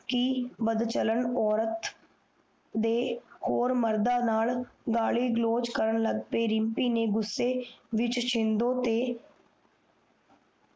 ਬਦਚਲਣ ਔਰਤ ਦੇ ਹੋਰ ਮਰਦਾ ਨਾਲ ਗਾਲੀ ਗਲੋਚ ਕਰਨ ਲਾਗ ਗਏ ਰਿਮਪੀ ਨੇ ਗੁੱਸੇ ਵਿਚ ਸ਼ਿੰਦੋ ਤੇ